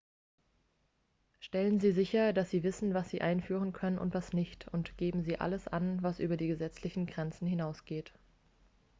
stellen sie sicher dass sie wissen was sie einführen können und was nicht und geben sie alles an was über die gesetzlichen grenzen hinausgeht